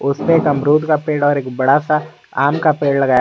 उसपे एक अमरूद का पेड़ और एक बड़ा सा आम का पेड़ लगा--